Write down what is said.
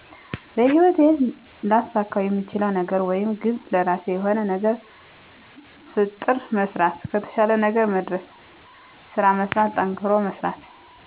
በህይወቴ ላሳካውየምችለው ነገርወይም ግብ ለራሴ የሆነ ነገር ፍጥር መሥራት ከተሻለ ነገር መድርስ ስራመስራት ጠንክሮመሥራት